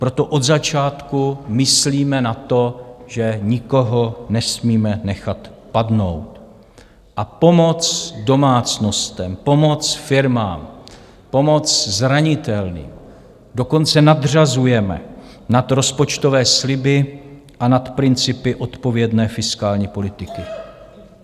Proto od začátku myslíme na to, že nikoho nesmíme nechat padnout, a pomoc domácnostem, pomoc firmám, pomoc zranitelným dokonce nadřazujeme nad rozpočtové sliby a nad principy odpovědné fiskální politiky.